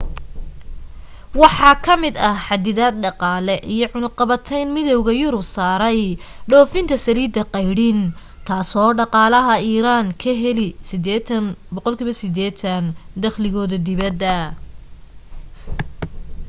waxa ka mid ah xaddidaad dhaqaale iyo cunuqatayn midowga yurub saaray dhoofinta saliidda qaydhin taasoo dhaqaalaha iiraan ka heli 80% dakhligooda dibadda